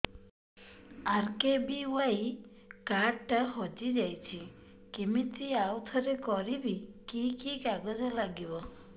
RKBY card ଟା ହଜିଯାଇଛି କିମିତି ଆଉଥରେ କରିବି କି କି କାଗଜ ଲାଗିବ